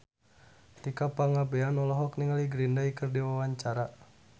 Tika Pangabean olohok ningali Green Day keur diwawancara